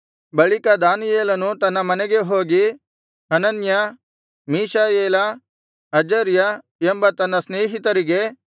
ಬಳಿಕ ದಾನಿಯೇಲನು ತನ್ನ ಮನೆಗೆ ಹೋಗಿ ಹನನ್ಯ ಮೀಶಾಯೇಲ ಅಜರ್ಯ ಎಂಬ ತನ್ನ ಸ್ನೇಹಿತರಿಗೆ